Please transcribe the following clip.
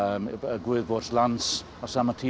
Guð vors lands á sama tíma